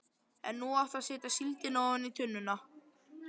En nú áttu að setja síldina ofan í tunnuna.